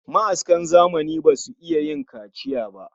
Ma'askan zamani basu iya yin kaciya